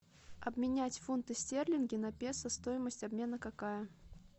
обменять фунты стерлинги на песо стоимость обмена какая